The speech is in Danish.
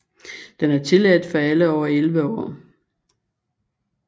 Den er tilladt for alle over elleve år